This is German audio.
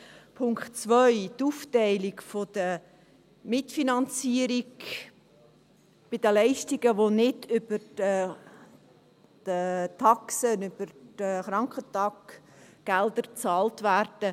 Punkt 2, die Aufteilung der Mitfinanzierung bei den Leistungen, die nicht über die Taxen, über die Krankentaggelder bezahlt werden: